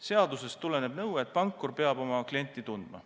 Seadusest tuleneb nõue, et pankur peab oma klienti tundma.